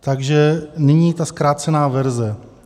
Takže nyní ta zkrácená verze.